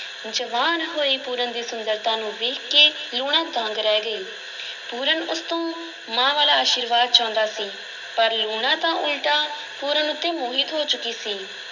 ਜਵਾਨ ਹੋਏ ਪੂਰਨ ਦੀ ਸੁੰਦਰਤਾ ਨੂੰ ਵੇਖਕੇ ਲੂਣਾ ਦੰਗ ਰਹਿ ਗਈ ਪੂਰਨ ਉਸ ਤੋਂ ਮਾਂ ਵਾਲਾ ਅਸ਼ੀਰਵਾਦ ਚਾਹੁੰਦਾ ਸੀ ਪਰ ਲੂਣਾ ਤਾਂ ਉਲਟਾ ਪੂਰਨ ਉੱਤੇ ਮੋਹਿਤ ਹੋ ਚੁੱਕੀ ਸੀ।